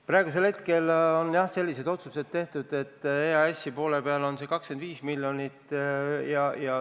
Praeguseks hetkeks on, jah, sellised otsused tehtud, et EAS-i poole peal on 25 miljonit.